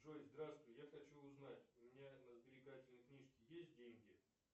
джой здравствуй я хочу узнать у меня на сберегательной книжке есть деньги